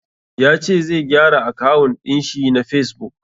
Ya ce zai gyara akawun ɗin shi na fesbuk.